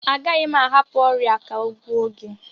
Agaghị m ahapụ ọrịa a ka ọ gbuo gị